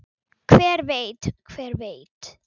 Hver veit, hver veit.